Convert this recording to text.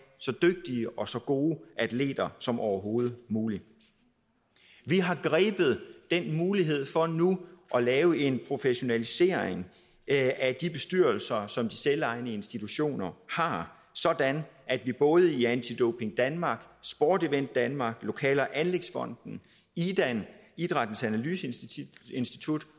så dygtige og så gode atleter som overhovedet muligt vi har grebet den mulighed for nu at lave en professionalisering af de bestyrelser som de selvejende institutioner har sådan at vi både i anti doping danmark sport event denmark lokale og anlægsfonden idan idrættens analyseinstitut